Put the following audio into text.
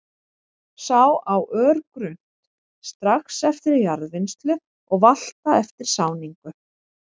Sá á örgrunnt, strax eftir jarðvinnslu og valta eftir sáningu.